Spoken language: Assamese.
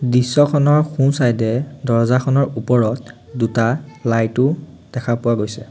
দৃশ্যখনৰ সোঁ চাইদে দৰজাখনৰ ওপৰত দুটা লাইটও দেখা পোৱা গৈছে।